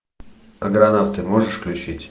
аргонавты можешь включить